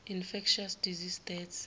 infectious disease deaths